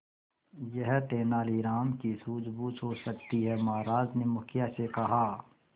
यह तेनालीराम की सूझबूझ हो सकती है महाराज ने मुखिया से कहा